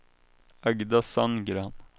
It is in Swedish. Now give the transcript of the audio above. Agda Sandgren